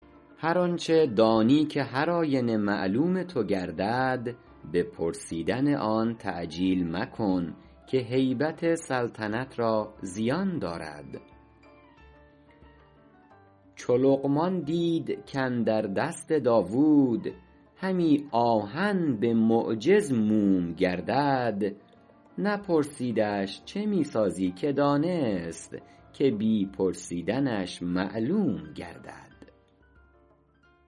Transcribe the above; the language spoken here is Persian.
هر آنچه دانی که هر آینه معلوم تو گردد به پرسیدن آن تعجیل مکن که هیبت سلطنت را زیان دارد چو لقمان دید کاندر دست داوود همی آهن به معجز موم گردد نپرسیدش چه می سازی که دانست که بی پرسیدنش معلوم گردد